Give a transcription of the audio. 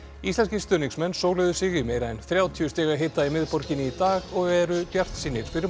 íslenskir stuðningsmenn sig í meira en þrjátíu stiga hita í miðborginni í dag og eru bjartsýnir fyrir